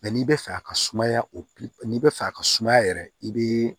n'i bɛ fɛ a ka sumaya o n'i bɛ fɛ a ka sumaya yɛrɛ i bɛ